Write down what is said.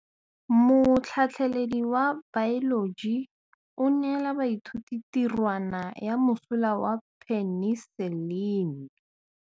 Motlhatlhaledi wa baeloji o neela baithuti tirwana ya mosola wa peniselene.